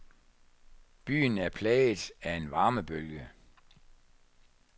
Byen er plaget af en varmebølge.